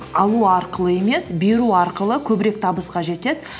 алу арқылы емес беру арқылы көбірек табысқа жетеді